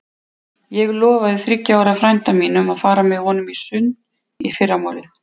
Ég lofaði þriggja ára frænda mínum að fara með honum í sund í fyrramálið.